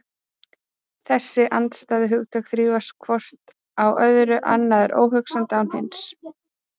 Þessi andstæðu hugtök þrífast hvort á öðru, annað er óhugsandi án hins.